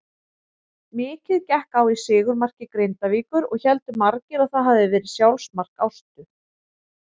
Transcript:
Mikið gekk á í sigurmarki Grindavíkur og héldu margir að það hafiði verið sjálfsmark Ástu.